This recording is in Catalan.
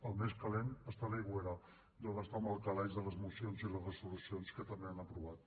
el més calent és a l’aigüera deuen estar en el calaix de les mocions i les resolucions que també han aprovat